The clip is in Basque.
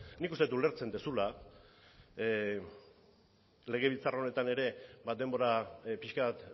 nik uste dut ulertzen duzula legebiltzar honetan ere denbora pixka bat